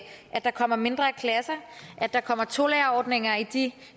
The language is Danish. der kommer mindre klasser at der kommer tolærerordninger i de